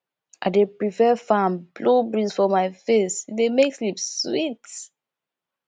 i dey prefer fan blow breeze for my face e dey make sleep sweet